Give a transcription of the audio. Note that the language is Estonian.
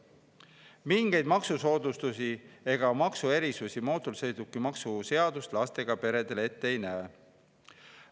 Mingeid maksusoodustusi ega ‑erisusi mootorsõidukimaksu seadus lastega peredele ette ei näe.